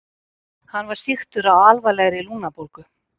Hann var sýktur af alvarlegri lungnabólgu.